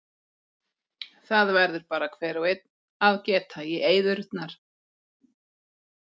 Það verður bara hver og einn að geta í eyðurnar.